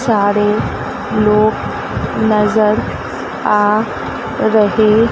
सारे लोग नजर आ रहे--